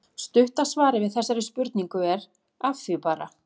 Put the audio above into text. Stutta svarið við þessari spurningu er: Að því bara!